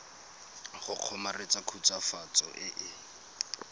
go kgomaretsa khutswafatso e e